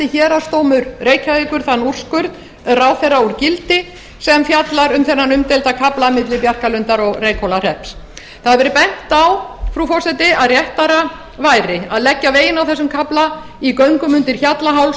héraðsdómur reykjavíkur þann úrskurð ráðherra úr gildi sem fjallar um þennan umdeilda kafla milli bjarkarlundar og reykhólahrepps það hefur verið bent á frú forseti að réttara væri að leggja veginn á þessum kafla í göngum undir hjallaháls